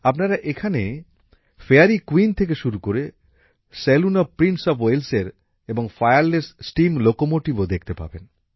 আপনারা এখানে fairy queen থেকে শুরু করে সেলুন অফ প্রিন্স অফ ওয়েলসের এবং ফায়ারলেস স্টিম লোকোমোটিভও দেখতে পাবেন